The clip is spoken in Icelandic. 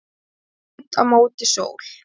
í laut á móti sól?